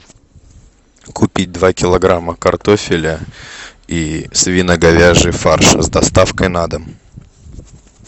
купить два килограмма картофеля и свино говяжий фарш с доставкой на дом